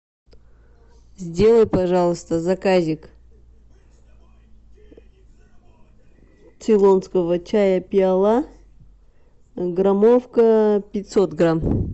сделай пожалуйста заказик цейлонского чая пиала граммовка пятьсот грамм